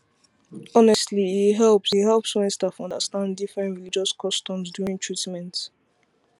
honestly it helps it helps when staff understand different religious customs during treatment